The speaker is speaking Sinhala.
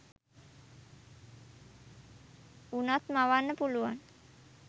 වුනත් මවන්න පුළුවන්